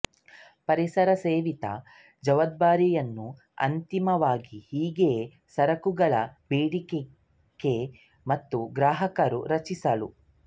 ಪರಿಸರ ಸವೆತ ಜವಾಬ್ದಾರಿಯನ್ನು ಅಂತಿಮವಾಗಿ ಹೀಗೆ ಸರಕುಗಳ ಬೇಡಿಕೆ ಮತ್ತು ಗ್ರಾಹಕರು ರಚಿಸಲು